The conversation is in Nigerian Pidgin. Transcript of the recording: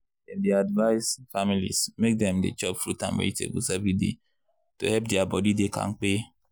dem dey advice families make dem dey chop fruit and vegetables every day to help their body dey kampe.